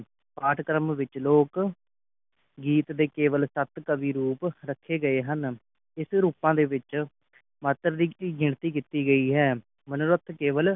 ਪਾਠ ਕਰਮ ਵਿਚ ਲੋਕ ਗੀਤ ਦੇ ਕੇਵਲ ਸਤ ਕਾਵਿ ਰੂਪ ਰੱਖੇ ਗਏ ਹਨ ਇਸ ਰੁਪਾ ਦੇ ਵਿਚ ਮਨੋਰਤ ਦੀ ਗਿਣਤੀ ਕੀਤੀ ਗਈ ਹੈ ਮਨੋਰਤ ਕੇਵਲ